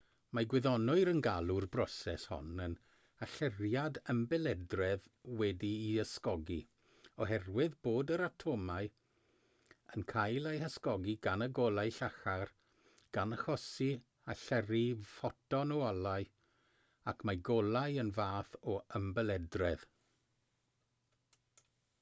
mae gwyddonwyr yn galw'r broses hon yn allyriad ymbelydredd wedi'i ysgogi oherwydd bod yr atomau yn cael eu hysgogi gan y golau llachar gan achosi allyrru ffoton o olau ac mae golau yn fath o ymbelydredd